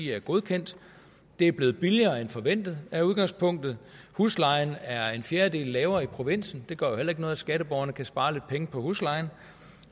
er godkendt det er blevet billigere end forventet er udgangspunktet huslejen er en fjerdedel lavere i provinsen det gør jo heller ikke noget at skatteborgerne kan spare lidt penge på huslejen